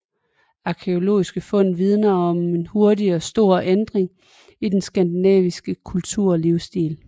Arkæologiske fund vidner om en hurtig og stor ændring i den skandinaviske kultur og livsstil